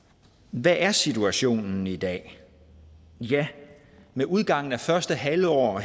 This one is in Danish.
hvad er situationen i dag ja med udgangen af første halvår